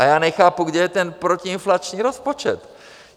A já nechápu, kde je ten protiinflační rozpočet.